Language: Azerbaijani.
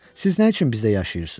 Siz nə üçün bizdə yaşayırsız?